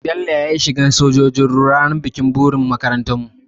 Bello ya yi shiga na sojin ruwa ranar bikin buri na makarantarmu.